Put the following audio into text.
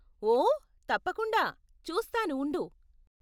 ఓ, తప్పకుండా, చూస్తాను ఉండు.